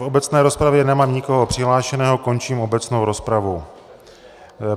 V obecné rozpravě nemám nikoho přihlášeného, končím obecnou rozpravu.